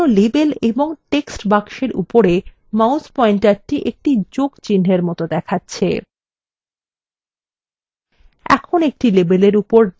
লক্ষ্য করুন যে কোনো labels এবং text বাক্সের উপরে mouse পয়েন্টারthe একটি যোগচিনহের মত দেখাচ্ছে